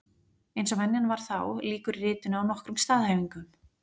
Eins og venjan var þá, lýkur ritinu á nokkrum staðhæfingum.